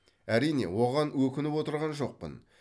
әрине оған өкініп отырған жоқпын